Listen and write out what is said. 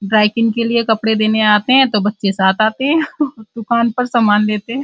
Dry cleaning के लिए कपड़े देने आते हैं तो बच्चे साथ आते हैं दुकान पर सामान लेते हैं।